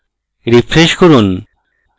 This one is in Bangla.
refresh করুন